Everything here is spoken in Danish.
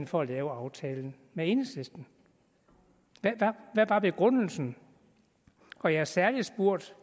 for at lave aftalen med enhedslisten hvad var begrundelsen og jeg har særlig spurgt